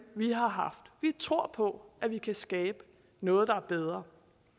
vi har haft vi tror på at der kan skabes noget der er bedre